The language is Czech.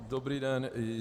Dobrý den.